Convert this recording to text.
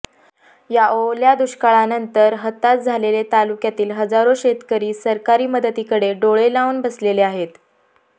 या ओल्या दुष्काळानंतर हताश झालेले तालुक्यातील हजारो शेतकरी सरकारी मदतीकडे डोळे लावून बसलेले आहेत